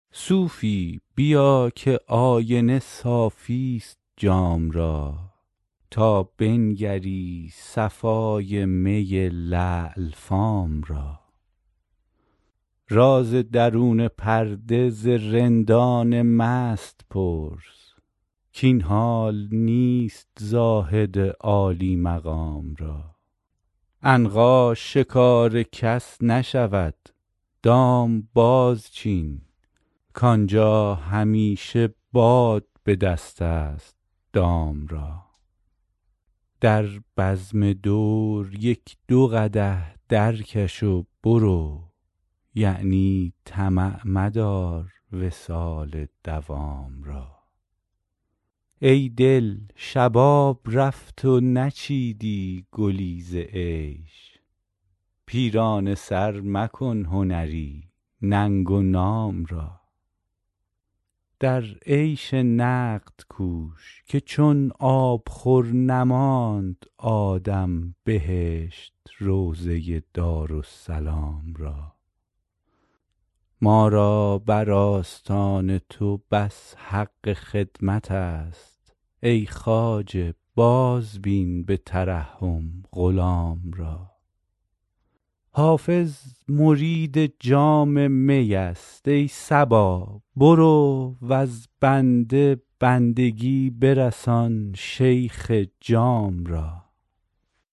صوفی بیا که آینه صافی ست جام را تا بنگری صفای می لعل فام را راز درون پرده ز رندان مست پرس کاین حال نیست زاهد عالی مقام را عنقا شکار کس نشود دام بازچین کآنجا همیشه باد به دست است دام را در بزم دور یک دو قدح درکش و برو یعنی طمع مدار وصال مدام را ای دل شباب رفت و نچیدی گلی ز عیش پیرانه سر مکن هنری ننگ و نام را در عیش نقد کوش که چون آبخور نماند آدم بهشت روضه دارالسلام را ما را بر آستان تو بس حق خدمت است ای خواجه بازبین به ترحم غلام را حافظ مرید جام می است ای صبا برو وز بنده بندگی برسان شیخ جام را